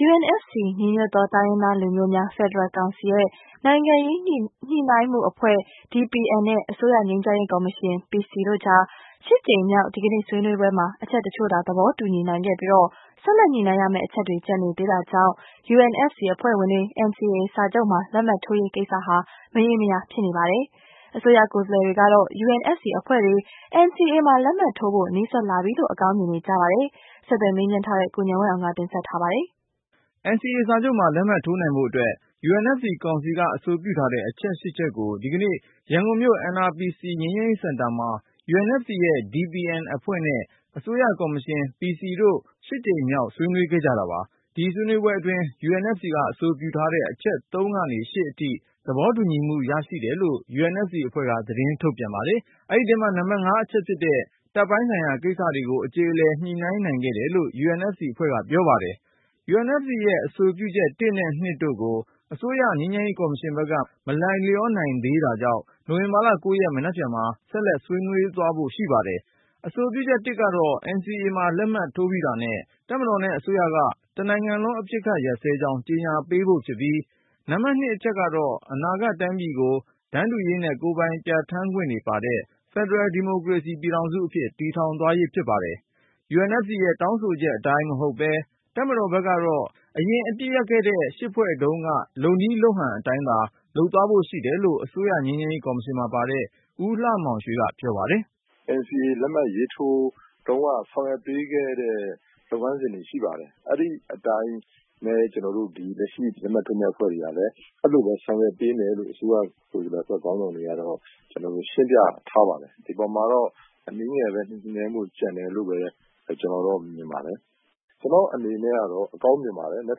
UNFC ညီညွတ်သော တိုင်းရင်းသားလူမျိုးများ ဖက်ဒရယ်ကောင်စီရဲ့ နိုင်ငံရေးညှိနှိုင်းမှုအဖွဲ့ DPN နဲ့ အစိုးရငြိမ်းချမ်းရေးကော်မရှင် PC တို့ကြား ကြိမ်မြောက် ဒီကနေ့ဆွေးနွေးပွဲမှာ အချက်တချို့သာ သဘောတူညီနိုင်ခဲ့ပြီး ၊ ဆက်လက်ညှိနှိုင်းရမယ့် အချက်တွေ ကျန်နေသေး တာကြောင့် UNFC အဖွဲ့ဝင်တွေ NCA စာချုပ်မှာ လက်မှတ်ထိုးရေး ကိစ္စဟာ မရေမရာဖြစ်နေပါတယ်။ အစိုးရ ကိုယ်စားလှယ်တွေကတော့UNFC အဖွဲ့တွေ NCA မှာ လက်မှတ်ထိုးဖို့ နီးစပ်လာပြီလို့ အကောင်းမြင်နေပါတယ်။ ဆက်သွယ်မေးမြန်းထားတဲ့ ကိုဉာဏ်ဝင်းအောင်က တင်ပြပါမယ်။ NCA စာချုပ်မှာ လက်မှတ်ထိုးနိုင်ဖို့အတွက် UNFC ကောင်စီက အဆိုပြုထားတဲ့ ချက်ကို ဒီကနေ့ ရန်ကုန်မြို့ NRPC ငြိမ်းချမ်းရေးစင်တာမှာ UNFC ရဲ့ DPN အဖွဲ့နဲ့ အစိုးရကော်မရှင် PC အဖွဲ့တို့ ကြိမ်မြောက် တွေ့ဆုံဆွေးနွေးကြတာပါ။ ဒီဆွေးနွေးပွဲအတွင်း UNFC က အဆိုပြုထား တဲ့ အချက် ကနေ အထိ သဘောတူညီမှုရရှိတယ်လို့ UNFC အဖွဲ့က သတင်းထုတ်ပြန်ပါတယ်။ အဲဒီထဲမှာ နံပါတ် အချက်ဖြစ်တဲ့ တပ်ပိုင်းဆိုင်ရာ ကိစ္စတွေကို အကြေအလည် ညှိနှိုင်းနိုင်ခဲ့တယ်လို့ UNFC အဖွဲ့က ပြောပါတယ်။ UNFC ရဲ့အဆိုပြုချက် နဲ့ တို့ကို အစိုးရ ငြိမ်းချမ်းရေးကော်မရှင်ဘက်က မလိုက်လျောနိုင် သေးတာကြောင့် နိုဝင်ဘာလ ရက် မနက် ဖြန်မှာ ဆက်လက် ဆွေးနွေးသွားဖို့ ရှိနေပါတယ်။ အဆိုပြုချက် ကတော့ NCA မှာလက်မှတ်ထိုးပြီးတာနဲ့ တပ်မတော်နဲ့အစိုးရက တနိုင်ငံလုံး အပစ်ခတ် ရပ်စဲကြောင်း ကြေညာပေးဖို့ ဖြစ်ပြီး၊ အချက် ကတော့ အနာဂတ်တိုင်းပြည်ကို တန်းတူရေးနဲ့ ကိုယ်ပိုင်ပြဌာန်းခွင့်တွေပါတဲ့ ဖယ်ဒရယ်ဒီမိုကရေစီ ပြည်ထောင်စုအဖြစ် တည်ထောင်သွားရေးဖြစ်ပါတယ်။ UNFC ရဲ့တောင်းဆိုချက်အတိုင်းမဟုတ်ပဲ တပ်မတော်ဘက်ကတော့ အရင်အပစ်ရပ်ခဲ့တဲ့ ဖွဲ့တုန်းက လုပ်နည်းလုပ်ဟန်အတိုင်းသာ လုပ်သွားဖို့ရှိတယ်လို့ အစိုးရငြိမ်းချမ်းရေး ကော်မရှင်မှာပါတဲ့ ဦးလှမောင်ရွှေကတော့ ပြောပါတယ်။ “NCA လက်မှတ်ရေးထိုးတုန်းက ဆောင်ရွက်ပေးခဲ့တဲ့ လုပ်ငန်းစဉ်တွေရှိပါတယ်။ အဲဒီအတိုင်းလည်း ကျနော်တို့အခုလက်မှတ်ထိုးမယ့်အဖွဲ့တွေကလည်း အဲလိုပဲ ဆောင်ရွက်ပေးမယ်လို့ အစိုးရကိုယ်စားလှယ်အဖွဲ့ခေါင်းဆောင်တွေကတော့ ကျနော်တို့ရှင်းပြထားပါတယ်။ ဒီအပေါ်မှာတော့ အနည်းငယ် ညှိနှိုင်းမူကျန်မယ်လို့ပဲ ကျနော်မြင်ပါတယ်။ ကျနော့်အနေနဲ့ကတော့ အကောင်းမြင်ပါတယ်။ မနက်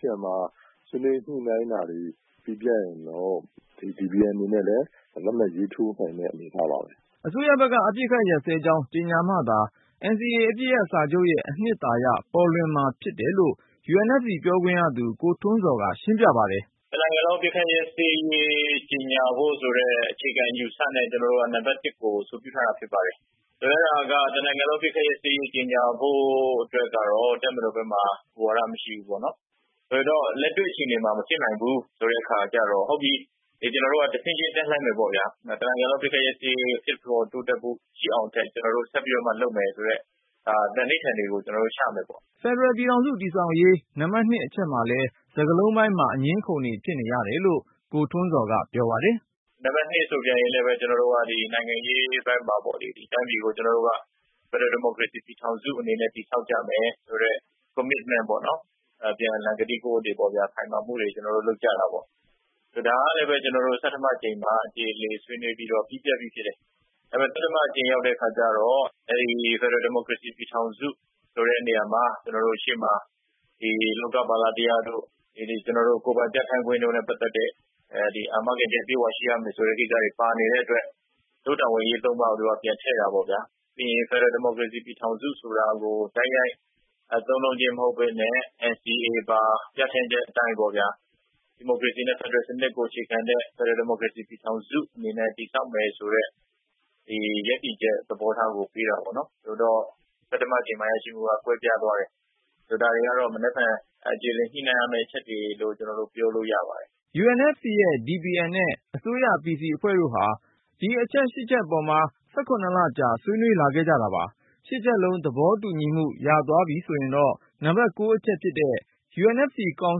ဖြန်မှာ ဆွေးနွေးညှိနှိုင်းတာတွေ ပြီးပြတ်ရင်တော့ DPN အနေနဲ့လည်း လက်မှတ်ရေးထိုးနိုင်တဲ့ အနေအထားပါပဲ။” အစိုးရဘက်က အပစ်ခတ်ရပ်စဲကြောင်း ကြေညာမှသာ NCA အပစ်ရပ် စာချုပ်ရဲ့အနှစ်သာရ ပေါ်လွင်မှာ ဖြစ်တယ်လို့ UNFC ပြောခွင့်ရသူ ကိုထွန်းဇော်က ရှင်းပြပါတယ်။ “တနိုင်ငံလုံး အပစ်ခတ်ရပ်စဲရေးကြေညာဖို့ဆိုတဲ့ အခြေခံအယူအဆနဲ့ ကျနော်တို့ နံပတ် ၁ ကို အဆိုပြုထားတာဖြစ်ပါတယ်။ အဲဒါက တနိုင်ငံလုံး အပစ်ခတ်ရပ်စဲရေးကြေညာဖို့အတွက်ကတော့ တပ်မတော်ဘက်မှာ မူဝါဒမရှိဘူးပေါ့နော် ၊ လက်တွေ့အခြေအနေမှာ မဖြစ်နိုင်ဘူးဆိုတဲ့အခါကျတော့ ဟုတ်ပြီ ကျနော်တို့က တဆင့်ချင်း တက်လှမ်းမယ်ပေါ့ဗျာ တနိုင်ငံလုံး အပစ်ခတ်ရပ်စဲရေး ဖြစ်ပေါ်တိုးတက်ဖို့ ရှိအောင် ကျနော်တို့ကဆက်ပြီးတော့မှ လုပ်မယ်ဆိုတဲ့ သန္နိဋ္ဌာန်တွေကို ကျနော်တို့ချမယ်ပေါ့။” ဖယ်ဒရယ် ပြည်ထောင်စုတည်ဆောက်ရေး နံပါတ် အချက်မှာလည်း စကားလုံးပိုင်းမှာ အငြင်းအခုန်တွေ ဖြစ်နေရတယ်လို့ ကိုထွန်းဇော်က ပြောပါတယ်။ “နံပါတ် ဆိုရင်လည်း ကျနော်တို့ နိုင်ငံရေး အပိုင်းမှာပေါ့နော် တိုင်းပြည်ကို ကျနော်တို့က ဖယ်ဒရယ် ဒီမိုကရေစီ ပြည်ထောင်စုအနေနဲ့ တည်ဆောက်ကြမယ်။ ဆိုတဲ့ commitment ပေါ့နော် အပြန်အလှန်ကတိကဝတ်တွေ ခိုင်မာမှု တွေ ကျနော်တို့ လုပ်ကြတာပေါ့ဗျာ။ ဒါကလည်း ဆဋ္ဌမအကြိမ်မှာ အကြေအလည်ဆွေးနွေးပြီးတော့ ပြီးဖြစ်တယ် သတ္တမ အကြိမ်ရောက်တော့ ဖယ်ဒရယ် ဒီမိုကရေစီ ပြည်ထောင်စုဆိုတဲ့နေရာမှာ အရှေ့မှာ လောကပါလတရားတို့ ကျနော်တို့ ကိုယ်တိုင်ပြဌာန်းခွင့်နဲ့ ပက်သက်တဲ့ အာမခံအချက်တွေအပြည့်အဝရှိရမယ်ဆိုတဲ့ ကိစ္စတွေပါနေတဲ့အတွက် တို့တာဝန်အရေးသုံးပါးကို သူတို့ထည့်တာပေါ့ခင်ဗျ။ ဖယ်ဒရယ် ဒီမိုကရေစီ ပြည်ထောင်စုဆိုတာကို သုံးနှုန်းခြင်းမဟုတ်ပဲနဲ့ NCA ပါပြဌာန်းချက်အတိုင်း ဒီမိုကရေစီ နဲ့ ဖယ်ဒရယ်စနစ်ကို အခြေခံတဲ့ ဖယ်ဒရယ် ဒီမိုကရေစီ ပြည်ထောင်စုအနေနဲ့ တည်ဆောက်မယ် ဆိုတဲ့ ရပ်တည်ချက်သဘောထားကို ပေးတာပေါ့နော် ဆိုတော့ အဲဒီမှာကွဲပြားသွားတယ်။ ဒါတွေကတော့ အကြေအလည်ညှိနှိုင်းရမယ့် အချက်တွေလို့ ပြောလိုရပါတယ်။” UNFC ရဲ့DPN နဲ့ အစိုးရ PC အဖွဲ့တို့ဟာ ဒီအချက် အပေါ်မှာ ၁၇ လကြော်ကြာ ဆွေးနွေးလာခဲ့ကြတာပါ။ ချက်လုံး သဘောတူညီမှု ရသွားပြီဆိုရင်တော့ နံပါတ် အချက်အရ UNFC ကောင်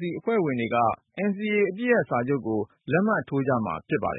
စီအဖွဲ့ဝင်တွေက NCA အပစ်ရပ်စာချုပ်ကို လက်မှတ်ထိုးကြမှာ ဖြစ်ပါတယ်